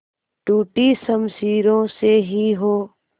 टूटी शमशीरों से ही हो